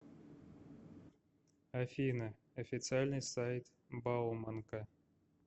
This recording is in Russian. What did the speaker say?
афина официальный сайт бауманка